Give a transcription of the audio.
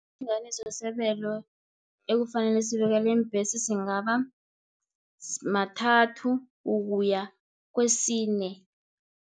Isilinganiso sebelo ekufanele sibekelwe iimbhesi, singaba mathathu ukuya kwesine.